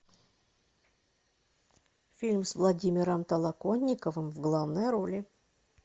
фильм с владимиром толоконниковым в главной роли